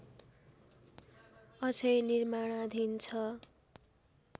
अझै निर्माणाधीन छ